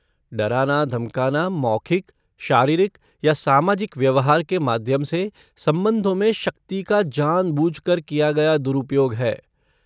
डराना धमकाना मौखिक, शारीरिक या सामाजिक व्यवहार के माध्यम से संबंधों में शक्ति का जानबूझकर किया गया दुरुपयोग है।